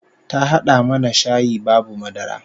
Ta hada mana shayi babu madara